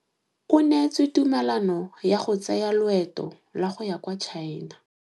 O neetswe tumalanô ya go tsaya loetô la go ya kwa China.